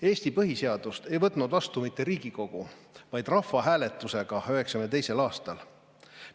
Eesti põhiseadust ei võtnud vastu mitte Riigikogu, vaid see võeti vastu rahvahääletusega 1992. aastal.